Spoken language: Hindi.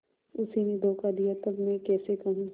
उसी ने धोखा दिया तब मैं कैसे कहूँ